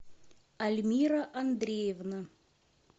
альмира андреевна